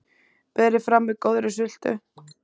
Berið fram með góðri sultu.